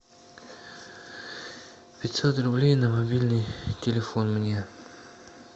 пятьсот рублей на мобильный телефон мне